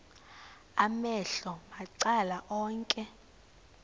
amehlo macala onke